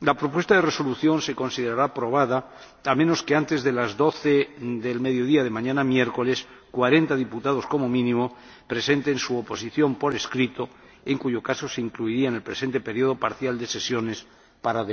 La propuesta de resolución se considerará aprobada, a menos que antes de las 1200 horas de mañana miércoles, cuarenta diputados como mínimo presenten su oposición por escrito, en cuyo caso se incluiría en el presente período parcial de sesiones para